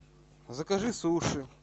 закажи суши